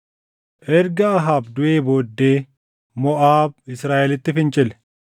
Erga Ahaab duʼee booddee Moʼaab Israaʼelitti fincile.